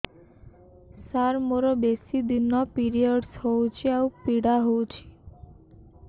ସାର ମୋର ବେଶୀ ଦିନ ପିରୀଅଡ଼ସ ହଉଚି ଆଉ ପୀଡା ହଉଚି